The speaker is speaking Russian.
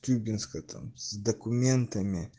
тюбинская там с документами